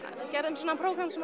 gerðum prógram sem